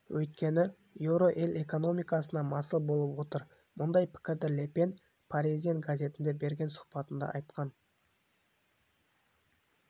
өйткені еуро ел экономикасына масыл болып отыр мұндай пікірді ле пен паризьен газетіне берген сұхбатында айтқан